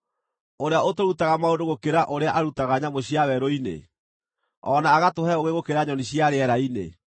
ũrĩa ũtũrutaga maũndũ gũkĩra ũrĩa arutaga nyamũ cia werũ-inĩ, o na agatũhe ũũgĩ gũkĩra nyoni cia rĩera-inĩ?’